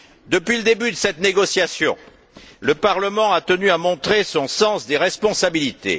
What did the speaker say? Depuis le début de cette négociation, le Parlement a tenu à montrer son sens des responsabilités.